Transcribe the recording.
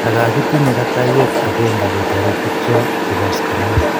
ndakakitinye katayeet akeenge ketoreet bikcho chebo askarnat